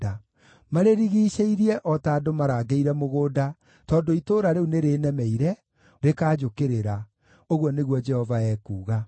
Marĩrigiicĩirie o ta andũ marangĩire mũgũnda, tondũ itũũra rĩu nĩrĩnemeire, rĩkanjũkĩrĩra,’ ” ũguo nĩguo Jehova ekuuga.